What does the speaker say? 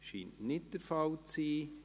Dies scheint nicht der Fall zu sein.